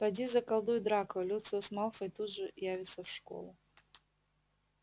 поди заколдуй драко люциус малфой тут же явится в школу